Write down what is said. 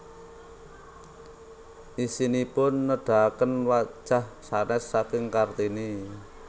Isinipun nedahaken wajah sanès saking Kartini